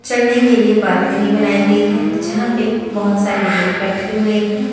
चलने के लिए बालकनी बनाई गई है जहां पे बहुत सारे लोग बैठे हुए हैं।